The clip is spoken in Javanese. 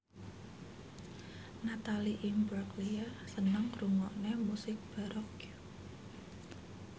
Natalie Imbruglia seneng ngrungokne musik baroque